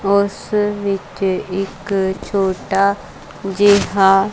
ਉਸ ਵਿੱਚ ਇੱਕ ਛੋਟਾ ਜਿਹਾ--